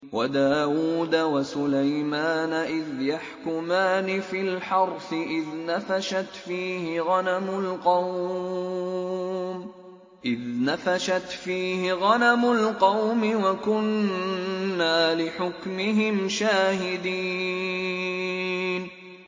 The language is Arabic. وَدَاوُودَ وَسُلَيْمَانَ إِذْ يَحْكُمَانِ فِي الْحَرْثِ إِذْ نَفَشَتْ فِيهِ غَنَمُ الْقَوْمِ وَكُنَّا لِحُكْمِهِمْ شَاهِدِينَ